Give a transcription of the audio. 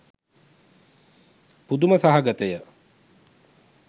පුදුම සහගතය.